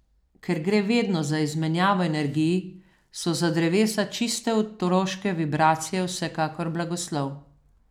Ker gre vedno za izmenjavo energij, so za drevesa čiste otroške vibracije vsekakor blagoslov.